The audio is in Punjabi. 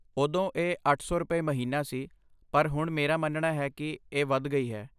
ਉਦੋਂ ਇਹ ਅੱਠ ਸੌ ਰੁਪਏ, ਮਹੀਨਾ ਸੀ ਪਰ ਹੁਣ ਮੇਰਾ ਮੰਨਣਾ ਹੈ ਕੀ ਇਹ ਵੱਧ ਗਈ ਹੈ